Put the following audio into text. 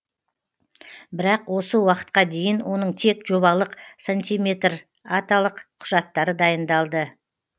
бірақ осы уақытқа дейін оның тек жобалық сантиметреталық құжаттары дайындалды